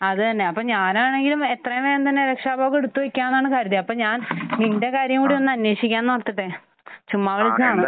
അത് തന്നെ. അപ്പോൾ ഞാനാണെങ്കിൽ എത്രയും വേഗം തന്നെ രക്ഷാ ഉപവ് എടുത്ത് വെയ്ക്കാമെന്നാണ് കരുതിയത്. അപ്പോൾ ഞാൻ നിന്റെ കാര്യം കൂടി ഒന്ന് അന്വേഷിക്കാമെന്ന് ഓർത്തിട്ടേ ചുമ്മാ വിളിച്ചതാണ്.